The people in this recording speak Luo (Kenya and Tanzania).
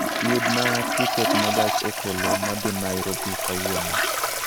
Yuna tiket ma gach okoloma dhi Nairobi kawuono